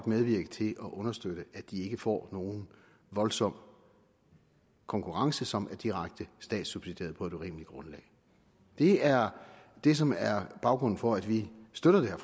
medvirke til at understøtte at de ikke får nogen voldsom konkurrence som er direkte statssubsidieret på et urimeligt grundlag det er det som er baggrunden for at vi støtter det her